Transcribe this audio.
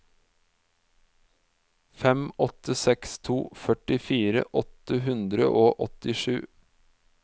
fem åtte seks to førtifire åtte hundre og åttisju